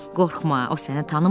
Qorxma, o səni tanımır.